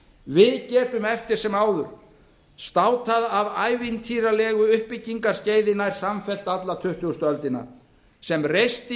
við getum eftir sem áður státað af ævintýralegu uppbyggingarskeiði nær samfellt alla tuttugustu öldina sem reisti